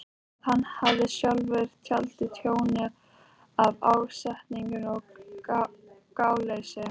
að hann hafi sjálfur valdið tjóni af ásetningi eða gáleysi.